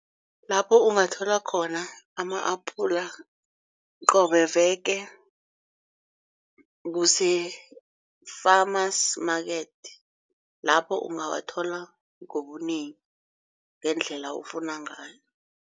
Lapho ungathola khona ama-apula qobe veke kuse-farmers market. Lapho ungawathola ngobunengi ngendlela ofuna ngayo.